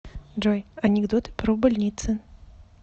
джой анекдоты про больницы